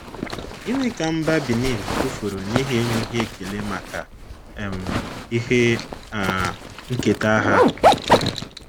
Gịnị ka mba Benin tụfuru n’ihi enweghị ekele maka um ihe um nketa ha?